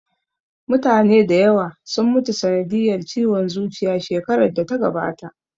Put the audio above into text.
Mutane da yawa sun mutu sanadiyar ciwon zuciya shekarar da ta gabata